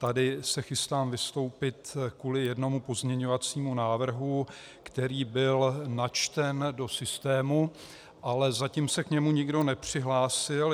Tady se chystám vystoupit kvůli jednomu pozměňovacímu návrhu, který byl načten do systému, ale zatím se k němu nikdo nepřihlásil.